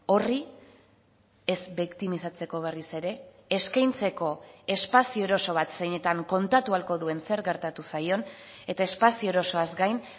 horri ez biktimizatzeko berriz ere eskaintzeko espazio eroso bat zeinetan kontatu ahalko duen zer gertatu zaion eta espazio erosoaz gain